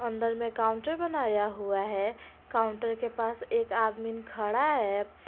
अंदर में काउंटर बनाया हुआ है काउंटर के पास एक आदमीन खड़ा है।